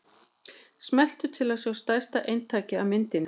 Smelltu til að sjá stærra eintak af myndinni.